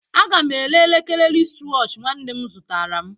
A ga m ere elekere wristwatch nwanne m zụtara m